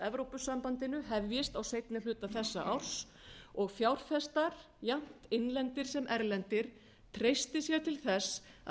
evrópusambandinu hefjist á seinni hluta þessa árs og fjárfestar jafnt innlendir sem erlendir treysti sér til þess að